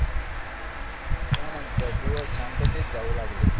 त्यानंतर दिवस शांततेत जाऊ लागले.